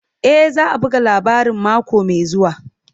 E, za a buga labarin mako mai zuwa.